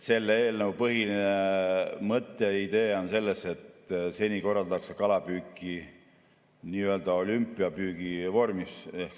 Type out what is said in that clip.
Selle eelnõu põhiline mõte ja idee on selles, et seni korraldatakse kalapüüki nii-öelda olümpiapüügi vormis.